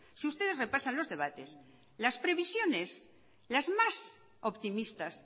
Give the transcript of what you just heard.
si ustedes repasan los debates las previsiones las más optimistas